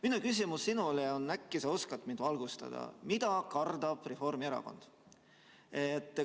Minu küsimus sinule on, äkki sa oskad mind valgustada: mida kardab Reformierakond?